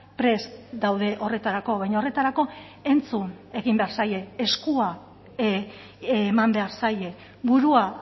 prest daude horretarako baina horretarako entzun egin behar zaie eskua eman behar zaie burua